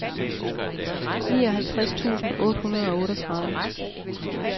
nioghalvtreds tusind otte hundrede og otteogtredive